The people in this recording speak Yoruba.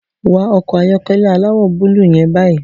Wọ ọkọ̀ ayọ́kẹ́lẹ́ aláwọ̀ búlúù yẹn báyìí